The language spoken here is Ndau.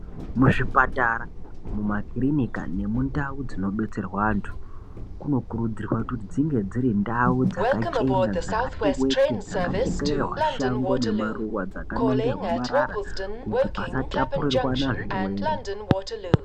Muzvipatara muma kirinika nemu ndau dzino betserwe antu kuno kurudzirwa kuti dzinge dziri ndau dzaka chena dzakati wetu dzaka chekererwa shango ne maruva dzaka nongerwa marara kuti pasa tapurirwana zvirwere .